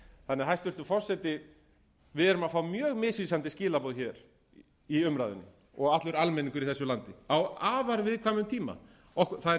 þannig að h hæstvirtur forseti við erum að fá mjög misvísandi skilaboð hér í umræðunni og allur almenningur í þessu landi á afar viðkvæmum tíma það er